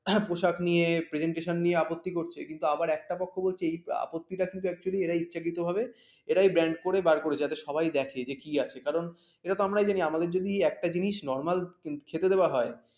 পোশাক নিয়ে presentation নিয়ে আপত্তি করছে, কিন্তু আবার একটা পক্ষ বলছে এই আপত্তিটা কিন্তু actually এরা ইচ্ছাকৃতভাবে এরাই band করে বার করেছে যাতে সবাই দেখে যে কি আছে কারণ এটাতো আমরাই জানি আমাদের যদি একটা জিনিস normal খেতে দেওয়া হয়